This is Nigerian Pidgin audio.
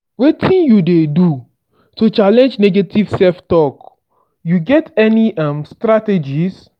wetin you dey do to challenge negative self-talk you get any um strategies?